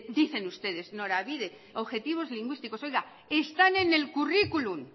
dicen ustedes norabide objetivos lingüísticos están en el curriculum